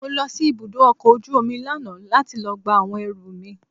Mo lọ sí ibùdó ọkọ̀ ojú omi lánàá láti lọ gba àwọn ẹrù mi.